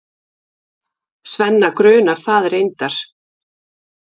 Svenna grunar það reyndar.